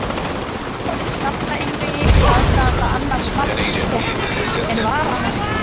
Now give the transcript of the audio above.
Tapaði skallaeinvígi í aðdraganda annars marks Tékka en var annars fínn.